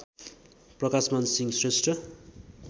Prakashman Singh Shrestha